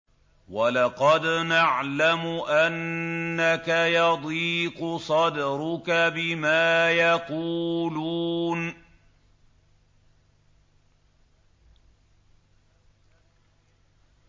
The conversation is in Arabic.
وَلَقَدْ نَعْلَمُ أَنَّكَ يَضِيقُ صَدْرُكَ بِمَا يَقُولُونَ